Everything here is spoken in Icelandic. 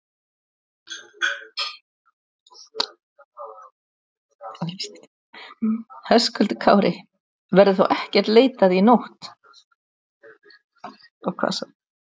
Höskuldur Kári: Verður þá ekkert leitað í nótt?